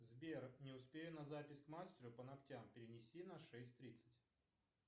сбер не успею на запись к мастеру по ногтям перенеси на шесть тридцать